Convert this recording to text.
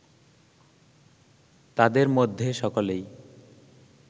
তাদের মধ্যে সকলেই